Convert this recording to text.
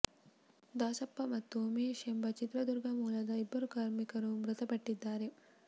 ದಾಸಪ್ಪ ಮತ್ತು ಉಮೇಶ್ ಎಂಬ ಚಿತ್ರದುರ್ಗ ಮೂಲದ ಇಬ್ಬರು ಕಾರ್ಮಿಕರು ಮೃತಪಟ್ಟಿದ್ದಾರೆ